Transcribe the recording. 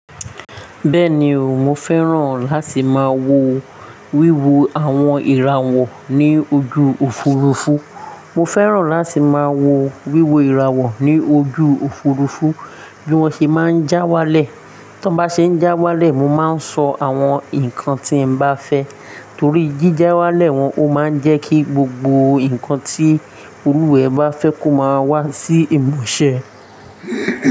Bẹ́ẹ̀ni o, mo fẹ́ràn láti máa wo wíwo àwon ìràwọ̀ ní ojú Òfurufú. Mo fẹ́ràn láti máa wo wíwo ìràwọ̀ ní ojú Òfurufú bí wọ́n ṣe máa ń já walẹ̀. Tí wọ́n bá ṣe ń já walẹ̀, mo máa ń sọ àwọn nǹkan tí mo bá fẹ́. Torí jí já walẹ̀ wọn o máa ń jẹ́ kí gbogbo nǹkan tí olúwẹ bá fẹ́ kó máa wá sí ìmúṣẹ.